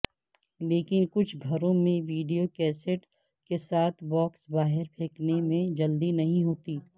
لیکن کچھ گھروں میں ویڈیو کیسےٹ کے ساتھ باکس باہر پھینکنے میں جلدی نہیں ہوتی